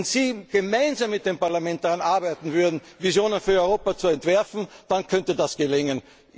Fraktionen. Wenn Sie gemeinsam mit dem Parlament daran arbeiten würden, Visionen für Europa zu entwerfen, dann könnte das